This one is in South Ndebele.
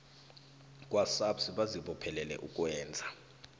kwasabs bazibophelele ukwenza